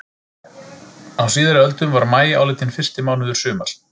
Á síðari öldum var maí álitinn fyrsti mánuður sumars.